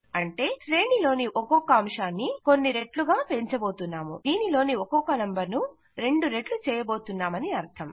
అంటే శ్రేణి లోని ఒక్కొక్క అంశాన్ని కొన్ని రెట్లు గా పెంచుతున్నాము దీనిలోని ఒక్కొక్క నంబర్ ను 2రెట్లు చేయబోతున్నామని అర్థం